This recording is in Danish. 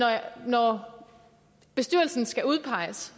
når bestyrelsen skal udpeges